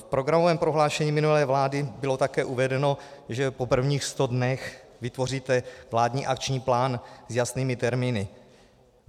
V programovém prohlášení minulé vlády bylo také uvedeno, že po prvních sto dnech vytvoříte vládní akční plán s jasnými termíny.